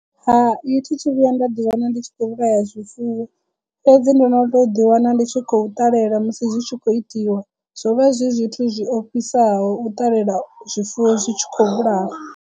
Hai thi thu vhuya nda ḓi wana ndi tshi khou vhulaya zwifuwo fhedzi ndo no to ḓi wana ndi tshi khou ṱalela musi zwi tshi khou itiwa zwo vha zwi zwithu zwi ofhisaho u ṱalela zwifuwo zwi tshi khou vhulawa.